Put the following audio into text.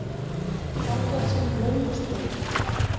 Fangelsin löngu sprungin